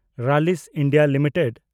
Rallis India limited